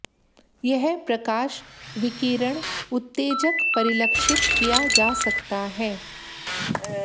यह प्रकाश विकिरण उत्तेजक परिलक्षित किया जा सकता है